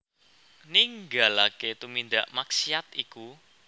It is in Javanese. Ninggalaké tumindak maksiat iku